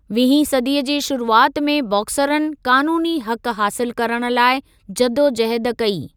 वीहीं सदीअ जे शुरूआति में बॉक्सरनि क़ानूनी हक़ु हासिलु करण लाइ जदोजहद कई।